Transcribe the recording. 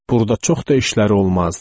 Burda çox da işləri olmazdı.